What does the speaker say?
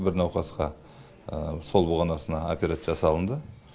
бір науқасқа сол бұғанасына операция жасалынды